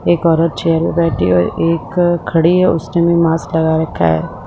एक औरत चेयर पर बैठी है और एक अ खड़ी है उसने भी मास्क लगा रखा है ।